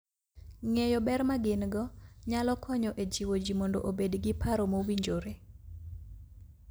Ng'eyo ber ma gin - go nyalo konyo e jiwo ji mondo obed gi paro mowinjore.